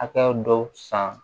A ka dɔ san